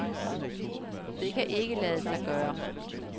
Det kan ikke lade sig gøre.